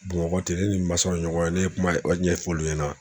Bamakɔ ten ne ni n mansaw ɲɔgɔn ye ne ye kuma ɲɛfɔ olu ɲɛna